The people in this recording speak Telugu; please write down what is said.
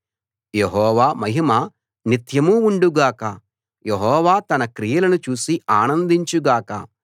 యెహోవా మహిమ నిత్యం ఉండుగాక యెహోవా తన క్రియలను చూసి ఆనందించు గాక